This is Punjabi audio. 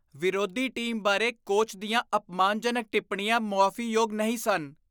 ਵਿਰੋਧੀ ਟੀਮ ਬਾਰੇ ਕੋਚ ਦੀਆਂ ਅਪਮਾਨਜਨਕ ਟਿੱਪਣੀਆਂ ਮੁਆਫ਼ੀਯੋਗ ਨਹੀਂ ਸਨ।